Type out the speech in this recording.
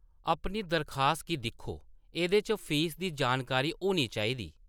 अपनी दरखास्त गी दिक्खो, एह्‌‌‌दे च फीस दी जानकारी होनी चाहिदी।